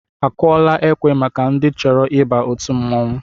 Akụọla ekwe maka ndị chọrọ ịba òtù mmọnwụ?